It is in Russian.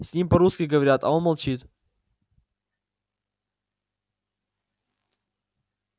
с ним по-русски говорят а он молчит